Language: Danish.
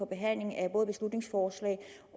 behandling af beslutningsforslag